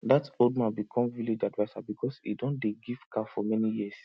that old man become village adviser because he don dey give cow for many years